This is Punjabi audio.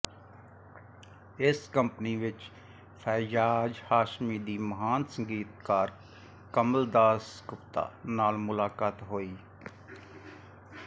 ਇਸ ਕੰਪਨੀ ਵਿਚ ਫੈਯਾਜ਼ ਹਾਸ਼ਮੀ ਦੀ ਮਹਾਨ ਸੰਗੀਤਕਾਰ ਕਮਲ ਦਾਸ ਗੁਪਤਾ ਨਾਲ ਮੁਲਾਕਾਤ ਹੋਈ